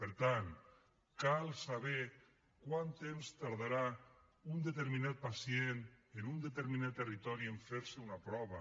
per tant cal saber quant temps tardarà un determinat pacient en un determinat territori en fer se una prova